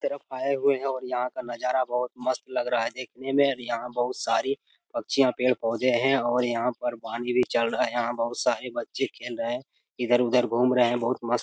तरफ आए हुए हैं और यहाँ का नजारा बहोत मस्त लग रहा है देखने में और यहाँ बहोत सारी पक्षियाँ पेड़-पौधे हैं और यहाँ पर पानी भी चल रहा है यहाँ बहोत सारे बच्चे खेल रहे हैं इधर उधर घूम रहे हैं बहुत मस्त --